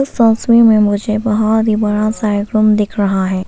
तस्वीर में मुझे बहुत ही बड़ा सा एक रूम दिख रहा है।